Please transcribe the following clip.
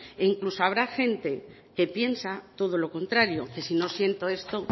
e incluso habrá gente que piensa todo lo contrario que si no siento esto